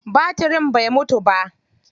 Batirin bai mutu ba.